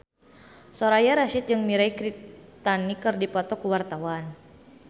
Soraya Rasyid jeung Mirei Kiritani keur dipoto ku wartawan